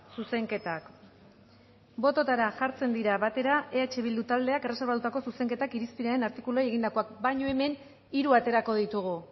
zuzenketak bototara jartzen dira batera eh bildu taldeak erreserbatutako zuzenketak irizpenaren artikuluei egindakoak baina hemen hiru aterako ditugu